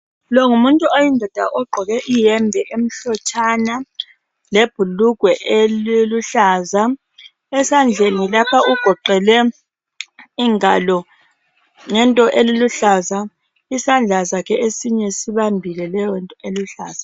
Longumuntu oyindoda ogqoke iyembe emhlotshana lebhulugwe eliluhlaza. Esandleni lapha ugoqele ingalo ngento eluhlaza. Isandla sakhe esinye sibambile leyonto eluhlaza.